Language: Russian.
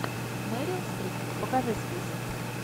мерил стрип покажи список